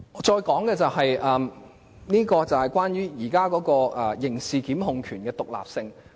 接下來，我想談談現時刑事檢控權的獨立性。